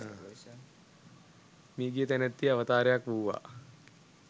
මියගිය තැනැත්තිය අවතාරයක් වූවා